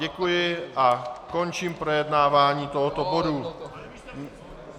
Děkuji a končím projednávání tohoto bodu.